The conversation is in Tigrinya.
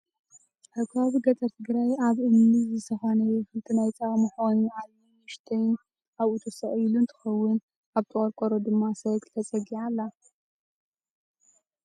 ኣብ ከባቢ ገጠር ትግራይ ኣብ እምኒ ዝተኳነየ ክልተ ናይ ፃባ መሕቆኒ ዓብይን ንእሽተይን ኣብኡ ተሰቂሉ እንትከውን፣ ኣብቲ ቆርቆሮ ድማ ሳይክል ተፀጊዓ ኣላ።